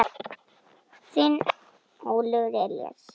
Þinn Óliver Elís.